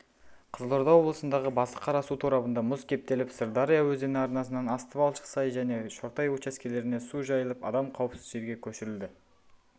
қызылорда облысындағы басықара су торабында мұз кептеліп сырдария өзені арнасынан асты балшық-сай және шортай учаскелеріне су жайылып адам қауіпсіз жерге көшірілді